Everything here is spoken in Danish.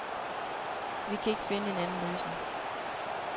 Vi kan ikke finde en anden løsning.